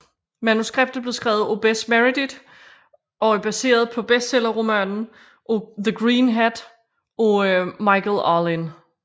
Manuskriptet blev skrevet af Bess Meredyth og er baseret på bestsellerromanen The Green Hat af Michael Arlen